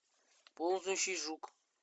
ползающий жук